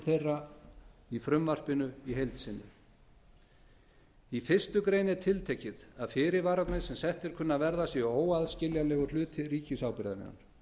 þeirra í frumvarpinu í heild sinni í fyrstu grein er tiltekið að fyrirvararnir sem settir kunni að verða séu óaðskiljanlegur hluti ríkisábyrgðarinnar